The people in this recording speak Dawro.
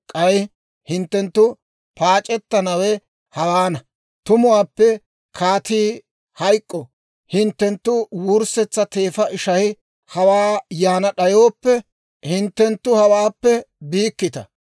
K'ay hinttenttu paac'ettanawe hawaana; tumuwaappe kaatii hayk'k'o; hinttenttu wurssetsa teefa ishay hawaa yaana d'ayooppe, hinttenttu hawaappe biikkita.